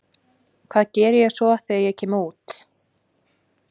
Hvað geri ég svo þegar ég kem út?